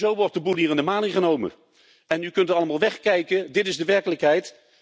En zo wordt de boel hier in de maling genomen! U kunt allemaal wegkijken, maar dit is de werkelijkheid.